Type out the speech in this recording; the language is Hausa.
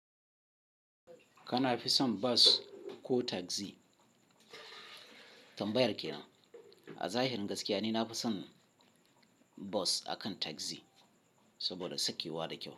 Kana fi son bus ko tagzi? Tambayar kenan. A zahirin gaskiya ne, na fi son bus akan tagzi saboda sakewa da kyau.